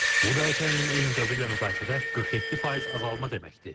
Bu da ötən ilin eyni dövrü ilə müqayisədə 47% azalma deməkdir.